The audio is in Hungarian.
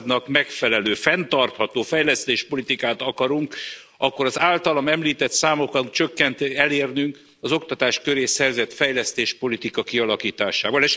századnak megfelelő, fenntartható fejlesztési politikát akarunk, akkor az általam említett számok csökkenését kell elérnünk az oktatás köré szervezett fejlesztéspolitika kialakításával.